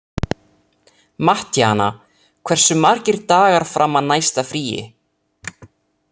Mattíana, hversu margir dagar fram að næsta fríi?